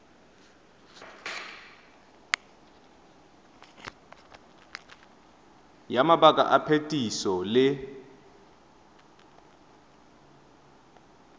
ya mabaka a phetiso le